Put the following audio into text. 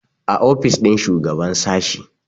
a ofis ɗin shugaban sashi